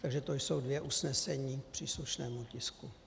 Takže to jsou dvě usnesení k příslušnému tisku.